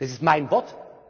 Das ist mein